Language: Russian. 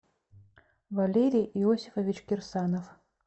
валерий иосифович кирсанов